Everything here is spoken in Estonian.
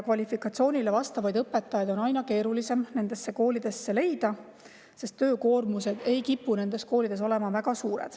Kvalifitseeritud õpetajaid on aina keerulisem nendesse koolidesse leida, sest töökoormus ei kipu olema seal väga suur.